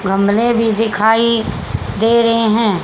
गमले भी दिखाई दे रहें हैं।